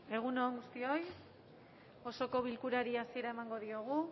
egun on guztioi osoko bilkurari hasiera emango diogu